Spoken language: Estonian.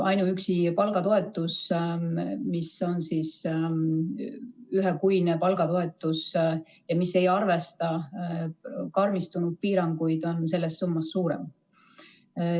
Ainuüksi palgatoetus, ühekuine palgatoetus, mis ei arvesta karmistunud piiranguid, on sellest summast suurem.